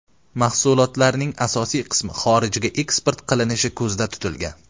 Mahsulotlarning asosiy qismi xorijga eksport qilinishi ko‘zda tutilgan.